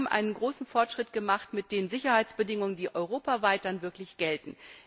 Wir haben einen großen Fortschritt mit den Sicherheitsbedingungen gemacht, die europaweit dann wirklich gelten.